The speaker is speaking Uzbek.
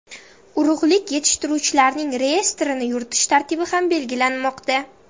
Urug‘lik yetishtiruvchilarning reyestrini yuritish tartibi ham belgilanmoqda.